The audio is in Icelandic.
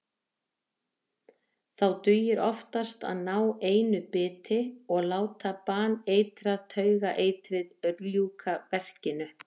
Þá dugir oftast að ná einu biti og láta baneitrað taugaeitrið ljúka verkinu.